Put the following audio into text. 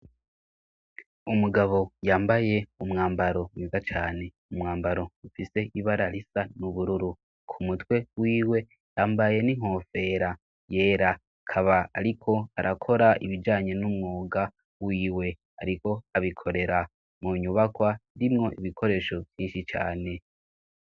Umugabo yambaye umwambaro mwiza cane; umwambaro ufise ibara risa n'ubururu. Ku mutwe wiwe yambaye n'inkofera yera. Akaba ariko arakora ibijanye n'umwuga wiwe; ariko abikorera mu nyubakwa irimwo ibikoresho vyinshi cane.